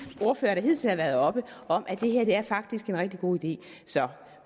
ordførere der hidtil har været heroppe om at det her faktisk er en rigtig god idé så